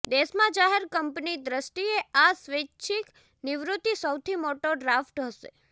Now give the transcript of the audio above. દેશમાં જાહેર કંપની દ્રષ્ટિએ આ સ્વૈચ્છિક નિવૃત્તિ સૌથી મોટો ડ્રાફ્ટ હશે